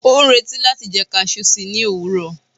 o n reti láti jẹ cashew sí ni owurọ